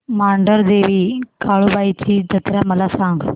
मांढरदेवी काळुबाई ची जत्रा मला सांग